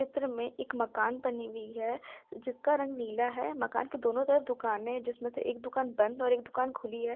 चित्र में एक मकान बनी हुई है जिसका रंग नीला है मकान के दोनों तरफ दुकान है जिसमें से एक दुकान बंद और एक दुकान खुली हुई है।